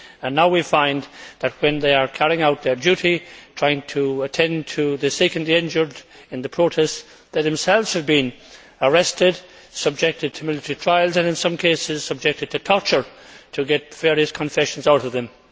Now we find that, when they are carrying out their duty and trying to attend to the sick and the injured in the protests, they themselves have been arrested, subjected to military trials and in some cases subjected to torture to get various confessions out of them.